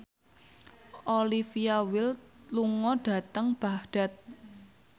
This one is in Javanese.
Olivia Wilde lunga dhateng Baghdad